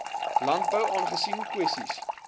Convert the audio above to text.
landbou aangesien kwessies